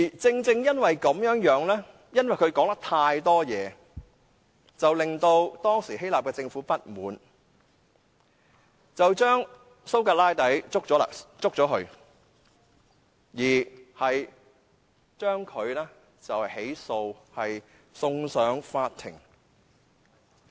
正正因為他說話太多，令當時的希臘政府不滿，將蘇格拉底拘捕並作出起訴，將他送上法庭。